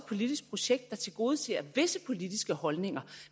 politisk projekt der tilgodeser visse politiske holdninger